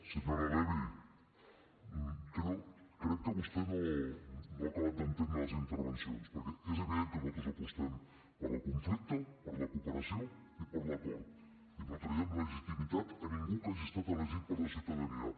senyora levy crec que vostè no ha acabat d’entendre les intervencions perquè és evident que nosaltres apostem pel no conflicte per la cooperació i per l’acord i no traiem legitimitat a ningú que hagi estat elegit per la ciutadania